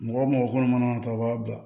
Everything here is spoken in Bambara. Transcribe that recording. Mɔgɔ wo mɔgɔ kɔnɔ mana ta o b'a bila